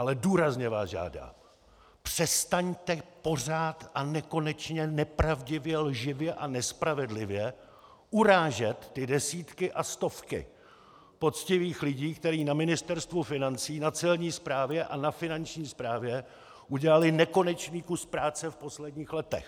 Ale důrazně vás žádám: Přestaňte pořád a nekonečně nepravdivě, lživě a nespravedlivě urážet ty desítky a stovky poctivých lidí, kteří na Ministerstvu financí, na celní správě a na finanční správě udělali nekonečný kus práce v posledních letech!